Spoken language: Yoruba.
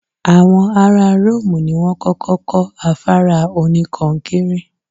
Àwọn ará Ró́òmù ni wọ́n kọ́kọ́ kọ́ afárá oníkọnkéré.